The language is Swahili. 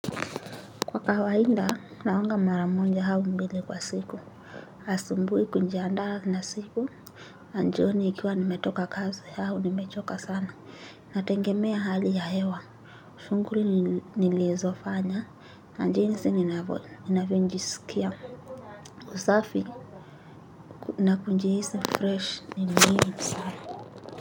Kwa kawaida, naoga mara moja au mbili kwa siku. Asubuhi kujiandaa na siku. Na jioni nikiwa nimetoka kazi au, nimechoka sana. Nategemea hali ya hewa. Shughuli nilizofanya. Na jinsi ninavyojisikia. Usafi, nakujihisi fresh ni muhimu sana.